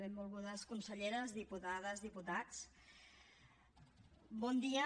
benvolgudes conselleres diputades diputats bon dia